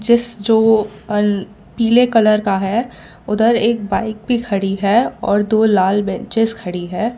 इस चो अल पीले कलर का है उधर एक बाइक भी खड़ी है और दो लाल बेंचेज खड़ी है।